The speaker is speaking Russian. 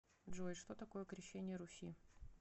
джой что такое крещение руси